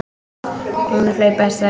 Hún að hlaupa í strætó.